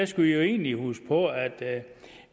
skal vi egentlig huske på at